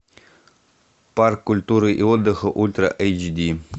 парк культуры и отдыха ультра эйч ди